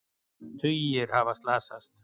Tugir hafa slasast